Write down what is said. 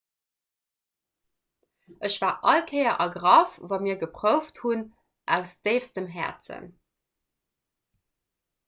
ech war all kéier ergraff wa mir geprouft hunn aus déifstem häerzen